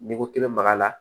N'i ko k'i bɛ maga a la